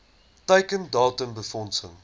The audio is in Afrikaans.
teiken datum befondsing